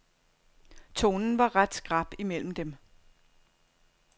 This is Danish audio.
Tonen var ret skrap imellem dem.